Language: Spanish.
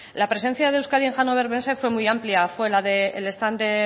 la presencia de euskadi en hannover messe fue muy amplia fue el stand de